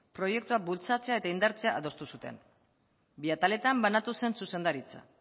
proiektua bultzatzea eta indartzea adostu zuten bi ataletan banatu zen zuzendaritza